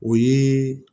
O ye